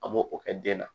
An b'o o kɛ den na